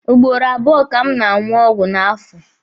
Ugboro abụọ ka m na-aṅụ ọgwụ n'afọ.